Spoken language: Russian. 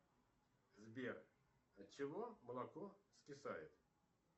сбер от чего молоко скисает